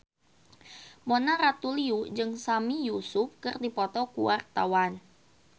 Mona Ratuliu jeung Sami Yusuf keur dipoto ku wartawan